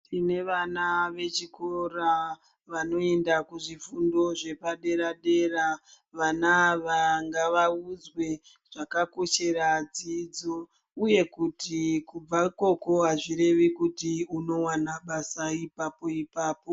Tine vana vechikora vanoenda kuzvifundo zvepa dera dera vana ava ngavaudzwe zvakakoshera dzidzo iye kuti kubva ikoko azvirevi kuti unowana basa ipapo ipapo.